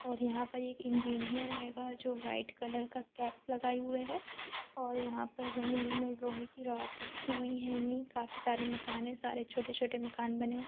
और यहाँ पर एक इंजीनियर हेगा जो व्हाइट कलर की कैप लगायी हुआ है और यहाँ पर जमीं में लोहे की रॉड रखी हुई हेंगी काफी सारे छोटे छोटे मकान बने है।